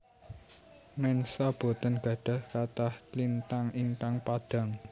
Mensa boten gadhah kathah lintang ingkang padhang